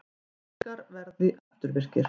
Samningar verði afturvirkir